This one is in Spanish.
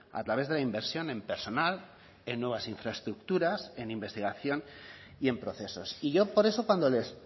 a través de la inversión en personal en nuevas infraestructuras en investigación y en procesos y yo por eso cuando les